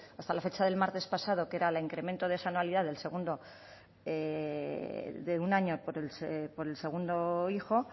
hasta la fecha del martes pasado que era el incremento de esa anualidad de un año por el segundo hijo